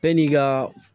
Yan'i ka